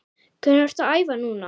Hvernig ertu að æfa núna?